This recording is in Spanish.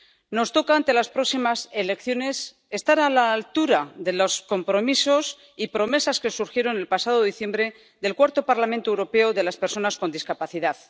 Nos toca, ante las próximas elecciones, estar a la altura de los compromisos y promesas que surgieron el pasado diciembre del Cuarto Parlamento Europeo de las Personas con Discapacidad.